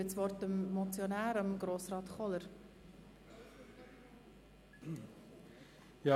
Der Motionär wünscht das Wort nochmals.